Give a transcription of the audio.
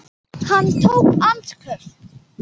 Hann tók andköf.